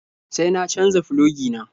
Sai na canja filogi na.